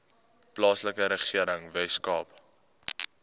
plaaslike regering weskaapse